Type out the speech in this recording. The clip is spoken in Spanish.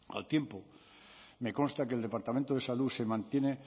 al tiempo me consta que el departamento de salud se mantiene